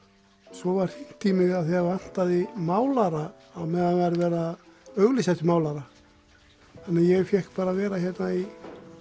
svo var hringt í mig af því það vantaði málara á meðan var verið að auglýsa eftir málara þannig ég fékk bara að vera hérna í